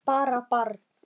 Hann var bara barn.